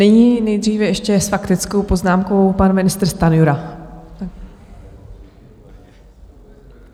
Nyní nejdříve ještě s faktickou poznámkou pan ministr Stanjura.